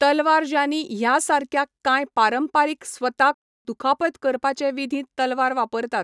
तलवार ज़ानी ह्या सारक्या कांय पारंपारीक स्वताक दुखापत करपाचे विधींत तलवार वापरतात.